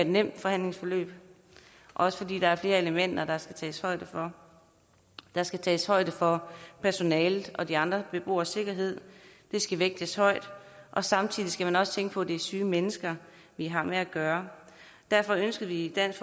nemt forhandlingsforløb også fordi der er flere elementer der skal tages højde for der skal tages højde for personalets og de andre beboeres sikkerhed det skal vægtes højt og samtidig skal man også tænke på at det er syge mennesker vi har med at gøre derfor ønskede vi i dansk